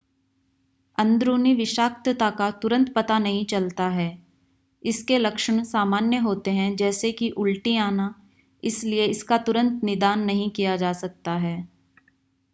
अंदरूनी विषाक्तता का तुरंत पता नहीं चलता है इसके लक्षण सामान्य होते हैं जैसे कि उल्टी आना इसलिए इसका तुरंत निदान नहीं किया जा सकता है